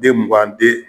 Den mugan di